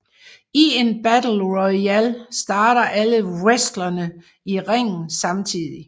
I en battle royal starter alle wrestlere i ringen samtidig